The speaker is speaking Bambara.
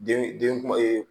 Den den kuma